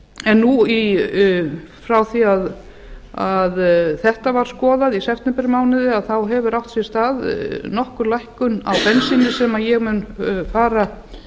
en nú frá því að þetta var skoðað í septembermánuði hefur átt sér stað nokkur lækkun á bensíni sem ég mun fara